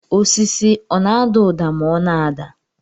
Osisi ọ na-ada ụda ma ọ na-ada